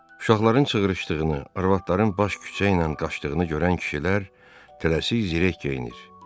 Uşaqların çığırışdığını, arvadların baş küçə ilə qaçdığını görən kişilər tələsik zirək geyinir.